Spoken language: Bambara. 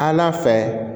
An fɛ